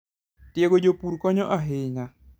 Tiego jopur konyo ahinya.